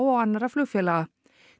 og annarra flugfélaga